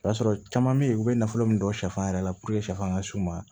O y'a sɔrɔ caman bɛ yen u bɛ nafolo min bɔ sɛfan yɛrɛ la sɛfan ka s'u ma